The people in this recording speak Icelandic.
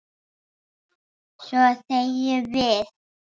Svo þegjum við.